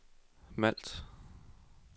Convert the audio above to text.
Malt